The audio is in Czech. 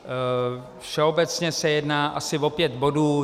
Všeobecně se jedná asi o pět bodů.